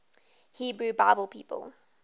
hebrew bible people